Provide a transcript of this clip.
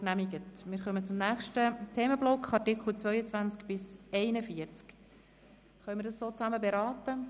Wird die gemeinsame Beratung dieser Artikel bestritten?